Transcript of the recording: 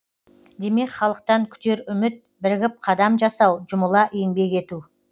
демек халықтан күтер үміт бірігіп қадам жасау жұмыла еңбек ету